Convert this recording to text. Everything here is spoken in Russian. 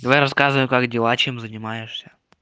давай рассказывай как дела чем занимаешься